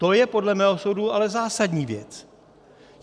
To je podle mého soudu ale zásadní věc.